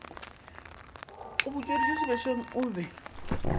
a butšweditše sebešong o be